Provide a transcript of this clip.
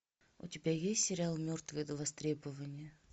у тебя есть сериал мертвые до востребования